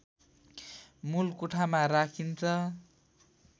मूल कोठामा राखिन्छ